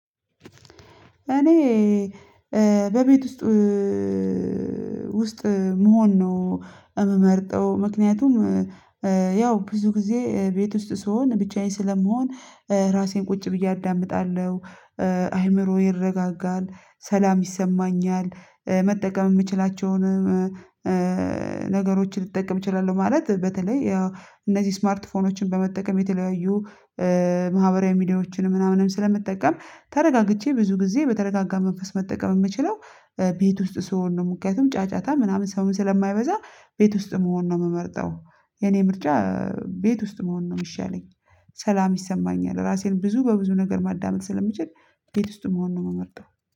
እኔ በቤት ውስጥ መሆን ነው የምመርጠው ምክንያቱም ያው ብዙ ጊዜ ቤት ውስጥ ስሆን ብቻዬን ስለመሆን ራሴን ቁጭ ብዬ አዳምጣለሁ አይምሮዬ ይረጋጋል ሰላም ይሰማኛል። መጠቀም የምችላቸውንም ነገሮችን ልትጠቀም ትችላለህ ማለት በተለይ ያው እነዚህ ስማርት ስልኮችን በመጠቀም የተለያዩ ማህበራዊ ሚዲያዎችን ምናምንም ስለመጠቀም ተረጋግቼ ብዙ ጊዜ በተረጋጋ መንፈስ መጠቀም የምችለው ቤት ውስጥ ስሆን ነው ምክንያቱም ጫጫታ ምናምን ሰውን ስለማይበዛ ቤት ውስጥ መሆን ነው የምመርጠው። የኔ ምርጫ ቤት ውስጥ መሆን ነው የሚሻለኝ። ሰላም ይሰማኛል ራሴን ብዙ በብዙ ነገር ማዳመጥ ስለምችል ቤት ውስጥ መሆን ነው የመጣው